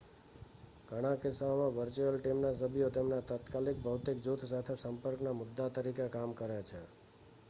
ઘણા કિસ્સાઓમાં વર્ચ્યુઅલ ટીમના સભ્યો તેમના તાત્કાલિક ભૌતિક જૂથ સાથે સંપર્કના મુદ્દા તરીકે કામ કરે છે